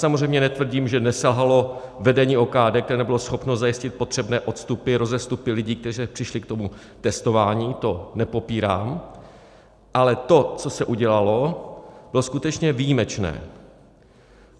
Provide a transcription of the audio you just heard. Samozřejmě netvrdím, že neselhalo vedení OKD, které nebylo schopno zajistit potřebné odstupy, rozestupy lidí, kteří přišli k tomu testování, to nepopírám, ale to, co se udělalo, bylo skutečně výjimečné.